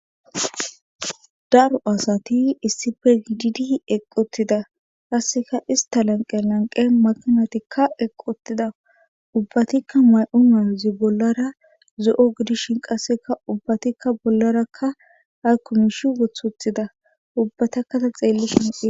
daro asati issife gidd eqqotida kasseka ista lanqe lanqe makinatikka eqqotida ubbatikka may7o mawuzi bollara zo7o gidishin qasseka ubbatikka bollarakka haykkumish wothuthida ubbatakkata xeelli shinqi